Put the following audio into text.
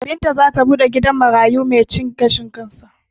Binta zata buɗe gidan marayu mai cin gashin kansa